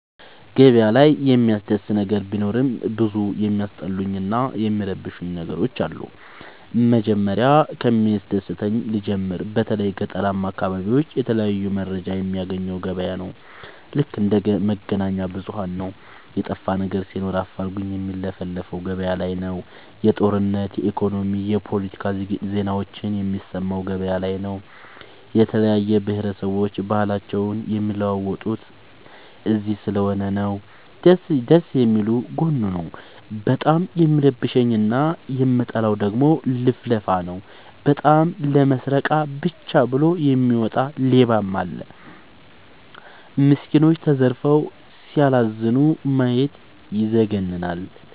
ገበያ ላይ የሚያስደስ ነገር ቢኖርም ብዙ የሚያስጠሉኝ እና የሚረብሸኝ ነገሮች አሉ። መጀመሪያ ከሚያስደስተኝ ልጀምር በተለይ ገጠራማ አካቢዎች የተለያየ መረጃ የሚያገኘው ገበያ ነው። ልክ እንደ መገናኛብዙኋን ነው የጠፋነገር ሲኖር አፋልጉኝ የሚለፍፈው ገበያላይ ነው። የጦርነት የኢኮኖሚ የፓለቲካ ዜናዎችን የሚሰማው ገበያ ላይ ነው። የተለያየ ብሆረሰቦች ባህልአቸውን የሚለዋወጡት እዚስለሆነ ይህ ደስየሚል ጎኑ ነው። በጣም የሚረብሸኝ እና የምጠላው ደግሞ ልፍልፍ ነው። በጣም ለመስረቃ ብቻ ብሎ የሚወጣ ሌባም አለ። ሚስኩኖች ተዘርፈው ሲያላዝኑ ማየት ይዘገንናል።